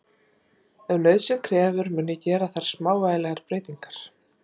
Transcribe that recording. Ef nauðsyn krefur mun ég gera þar smávægilegar breytingar.